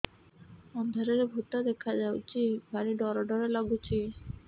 ଅନ୍ଧାରରେ ଭୂତ ଦେଖା ଯାଉଛି ଭାରି ଡର ଡର ଲଗୁଛି